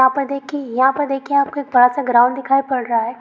यहां पर देखिऐ यहां पर देखिऐ आपको एक बड़ा सा ग्राउंड दिखाई पड़ रहा है।